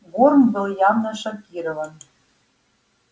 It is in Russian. горм был явно шокирован